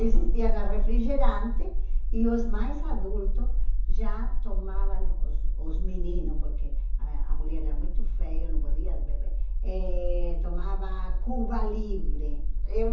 Existia refrigerante e os mais adultos já tomavam, os os meninos, porque a a mulher era muito feia, não podia beber, eh tomava Cuba Livre. Eu